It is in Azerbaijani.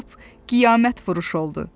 bu lap qiyamət vuruşu oldu.